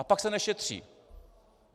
A pak se nešetří.